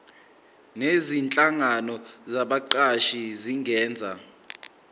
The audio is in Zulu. nezinhlangano zabaqashi zingenza